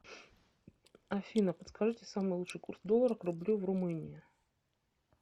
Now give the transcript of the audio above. афина подскажите самый лучший курс доллара к рублю в румынии